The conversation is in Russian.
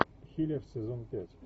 хилер сезон пять